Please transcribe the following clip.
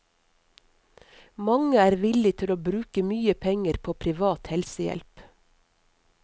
Mange er villig til å bruke mye penger på privat helsehjelp.